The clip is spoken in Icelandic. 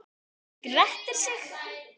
Hann grettir sig.